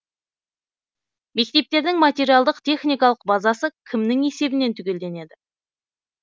мектептердің материалдық техникалық базасы кімнің есебінен түгелденеді